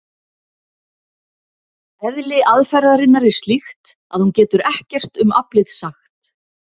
Eðli aðferðarinnar er slíkt að hún getur ekkert um aflið sagt.